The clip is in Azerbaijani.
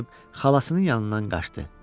Xalasının yanından qaçdı.